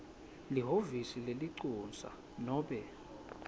lihhovisi lelincusa nobe